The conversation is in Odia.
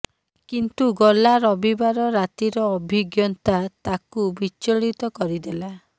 କିନ୍ତୁ ଗଲା ରବିବାର ରାତିର ଅଭିଜ୍ଞତା ତାକୁ ବିଚଳିତ କରିଦେଲା